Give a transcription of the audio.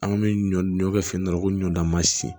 An bɛ ɲɔ kɛ fɛn dɔ la ko ɲɔ dan masin